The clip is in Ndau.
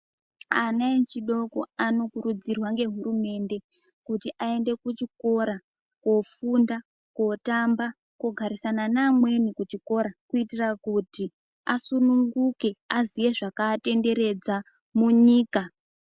Ana echidoko anokuridzirwa ngehurumende kuti aende kuchikora kofunda, kotamba, kogarisana neamweni kuchikora kuitira kuti asununguke aziye zvakatenderedza munyika.